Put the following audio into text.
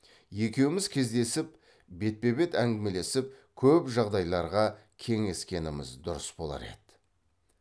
екеуміз кездесіп бетпе бет әңгімелесіп көп жағдайларға кеңескеніміз дұрыс болар еді